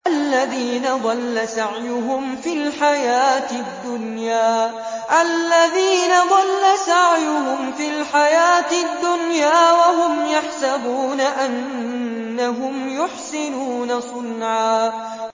الَّذِينَ ضَلَّ سَعْيُهُمْ فِي الْحَيَاةِ الدُّنْيَا وَهُمْ يَحْسَبُونَ أَنَّهُمْ يُحْسِنُونَ صُنْعًا